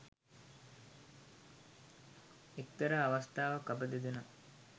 එක්තරා අවස්ථාවක් අප දෙදෙනා